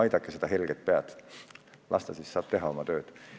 Aidakem vaid seda helget pead, siis ta saab teha oma tööd veelgi paremini!